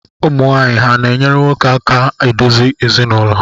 Ụmụwaanyị ha na-enyere nwoke aka adozi ezinụlọ?